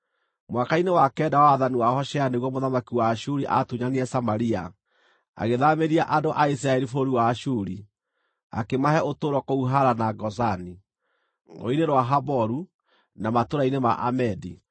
Mwaka-inĩ wa kenda wa wathani wa Hoshea nĩguo mũthamaki wa Ashuri aatunyanire Samaria, agĩthaamĩria andũ a Isiraeli bũrũri wa Ashuri. Akĩmahe ũtũũro kũu Hala na Gozani, Rũũĩ-inĩ rwa Haboru, na matũũra-inĩ ma Amedi.